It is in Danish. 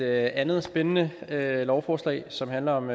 andet spændende lovforslag som handler om